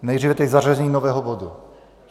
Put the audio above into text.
Nejdříve tedy zařazení nového bodu.